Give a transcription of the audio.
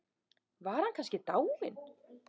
Var hann kannski dáinn?